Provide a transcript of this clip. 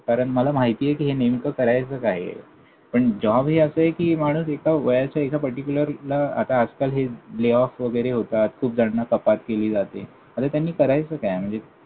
कारण मला माहितीये कि नेमकं करायचं काय आहे? पण job हे असंय कि माणूस एका वयाच्या एका पर्टिक्युलरला आता आजकाल हे layoff वगैरे होतात. खूप जणांना कपात केली जाते. आता त्यांनी करायचं काय? म्हणजे